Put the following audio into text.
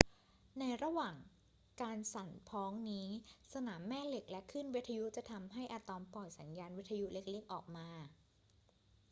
ในระหว่างการสั่นพ้องนี้ สนามแม่เหล็กและคลื่นวิทยุจะทำให้อะตอมปล่อยสัญญาณวิทยุเล็ก ๆ ออกมา